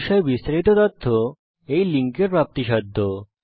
এই বিষয় বিস্তারিত তথ্য এই লিঙ্ক এ প্রাপ্তিসাধ্য